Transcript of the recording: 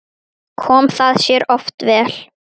Kom það sér oft vel.